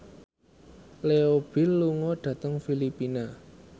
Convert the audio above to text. Leo Bill lunga dhateng Filipina